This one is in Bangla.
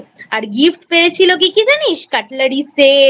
আর Gift পেয়েছিল কী কী জানিস Cutlery Set